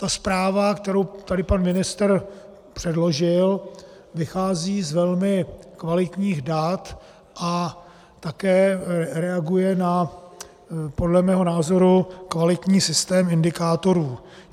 Ta zpráva, kterou tady pan ministr předložil, vychází z velmi kvalitních dat a také reaguje na podle mého názoru kvalitní systém indikátorů.